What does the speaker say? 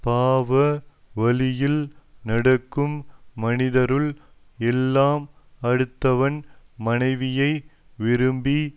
பாவ வழியில் நடக்கும் மனிதருள் எல்லாம் அடுத்தவன் மனைவியை விரும்பி